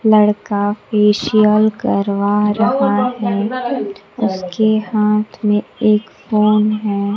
लड़का फेशियल करवा रहा है उसके हाथ में एक फोन है।